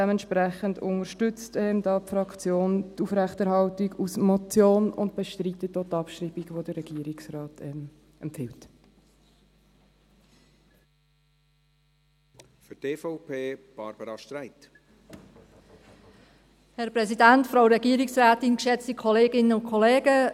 Dementsprechend unterstützt die Fraktion die Aufrechterhaltung als Motion und bestreitet auch die Abschreibung, die der Regierungsrat empfiehlt.